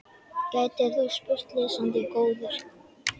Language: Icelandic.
gætir þú spurt, lesandi góður.